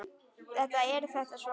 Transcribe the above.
Þetta er þetta svo sárt!